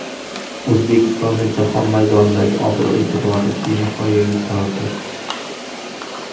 O‘zbekistonning jahon maydonidagi obro‘-e’tibori benihoya yuqoridir.